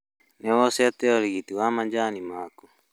Nĩ woyete ũrigiti wa macani maaku?